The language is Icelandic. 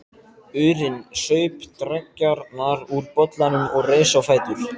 urinn, saup dreggjarnar úr bollanum og reis á fætur.